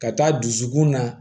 Ka taa dusukun na